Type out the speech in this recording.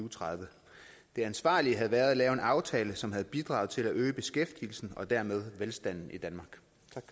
og tredive det ansvarlige havde været at lave en aftale som havde bidraget til at øge beskæftigelsen og dermed velstanden i danmark